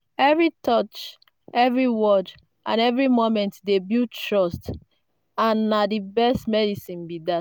every touch every word and every moment dey build trust—and na the best medicine be that.